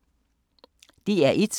DR1